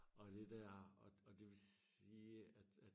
Og det dér og og det vil sige at at